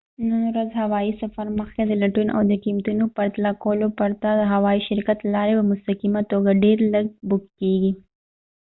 نن ورځ هوایي سفر مخکې د لټون او د قیمتونو پرتله کولو پرته د هوایی شرکت له لارې په مستقیمه توګه ډير لږ بک کیږي